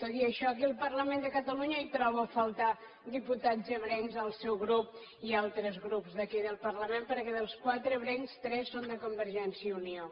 tot i això aquí al parlament de catalunya hi trobo a faltar diputats ebrencs del seu grup i altres grups d’aquí del parlament perquè dels quatre ebrencs tres són de convergència i unió